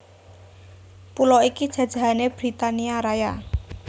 Pulo iki jajahané Britania Raya